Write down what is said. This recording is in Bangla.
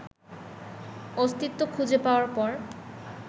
অস্তিত্ব খুঁজে পাওয়ার পর